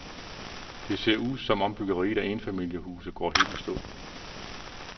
Det ser ud, som om byggeriet af enfamiliehuse går helt i stå.